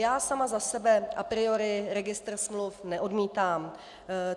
Já sama za sebe a priori registr smluv neodmítám.